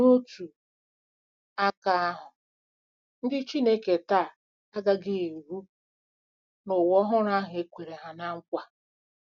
N’otu aka ahụ, ndị Chineke taa agaghị eru n’ụwa ọhụrụ ahụ e kwere ná nkwa.